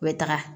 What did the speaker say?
U bɛ taga